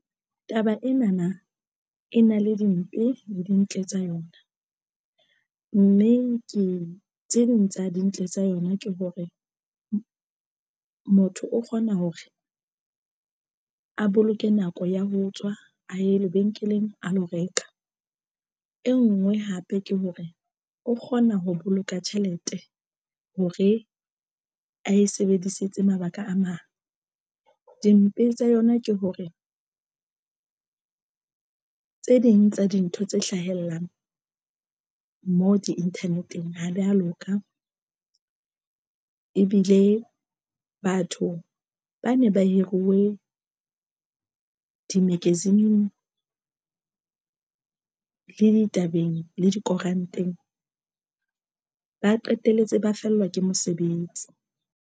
Taba ena na e na le dimpe le dintle tsa yona, mme ke tse ding tsa dintle tsa yona. Ke hore motho o kgona hore a boloke nako ya ho tswa a ye lebenkeleng a lo reka e ngwe hape ke hore o kgona ho boloka tjhelete hore a e sebedisetse mabaka a mang. Dimpe tsa yona ke hore tse ding tsa dintho tse hlahellang moo di inthaneteng ha di a loka ebile batho ba ne ba hiruwe di-magazine-ng le ditabeng le dikoranteng ba qetelletse ba fellwa ke mosebetsi.